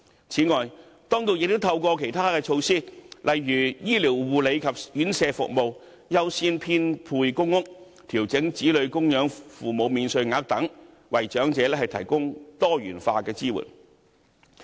此外，當局亦透過其他措施，例如醫療護理及院舍服務、優先編配公屋、調整子女供養父母免稅額等，為長者提供多元化的支援。